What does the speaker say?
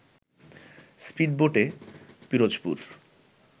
স্পীডবোটে Pirojpur